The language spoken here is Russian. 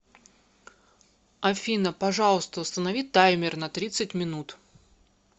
афина пожалуйста установи таймер на тридцать минут